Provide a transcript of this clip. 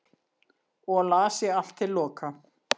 og las ég allt til loka